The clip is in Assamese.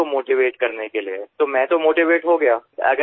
তেওঁলোকক উৎসাহিত কৰাৰ বাবে মই নিজে উৎসাহিত হলো